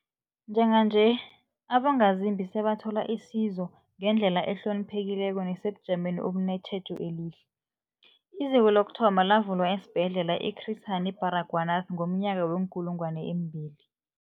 Njenganje, abongazimbi sebathola isizo ngendlela ehloniphekileko nesebujameni obunetjhejo elihle. IZiko lokuthoma lavulwa esiBhedlela i-Chris Hani Baragwanath ngomnyaka we-2000.